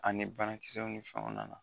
A ni banakisɛw ni fɛnw nana.